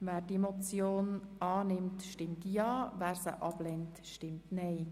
Wer die Motion annehmen will, stimmt Ja, wer sie ablehnt, stimmt Nein.